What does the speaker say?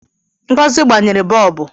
Ngozi gbanyere bọọbụ